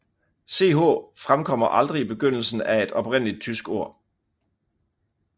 Ch fremkommer aldrig i begyndelsen af et oprindeligt tysk ord